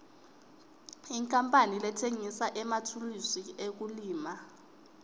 inkapani letsengisa emathulusi ekulima